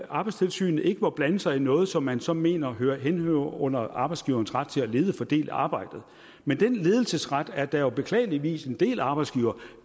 arbejdstilsynet ikke må blande sig i noget som man så mener henhører under arbejdsgiverens ret til at lede og fordele arbejdet men den ledelsesret er der jo beklageligvis en del arbejdsgivere